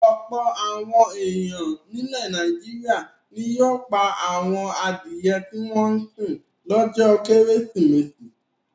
Ọ̀pọ̀ àwọn ènìyàn nílẹ̀ Nàìjíríà ni yóò pa àwọn adìẹ tí wọ́n ń sìn lọ́jọ́ Kérésìmesì.